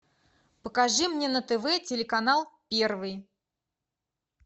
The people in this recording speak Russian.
покажи мне на тв телеканал первый